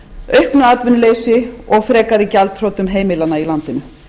auknu atvinnuleysi og frekari gjaldþrotum heimilanna í landinu